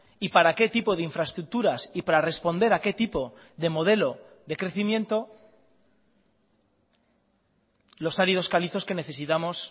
y para qué tipo de infraestructuras y para responder a qué tipo de modelo de crecimiento los áridos calizos que necesitamos